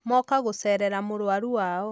Moka gũcerera mũrũaru Wao.